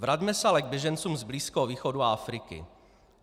Vraťme se ale k běžencům z Blízkého východu a Afriky.